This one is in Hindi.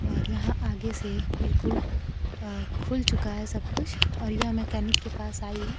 और यहां आगे से बिल्कुल अह खुल चुका है सब कुछ और यह मैकेनिक के पास आई है।